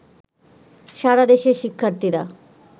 সারা দেশের শিক্ষার্থীরা